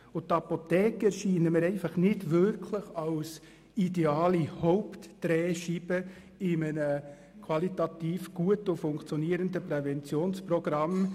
Und die Apotheken erscheinen mir einfach nicht wirklich als ideale Hauptdrehscheibe in einem qualitativ guten und funktionierenden Präventionsprogramm.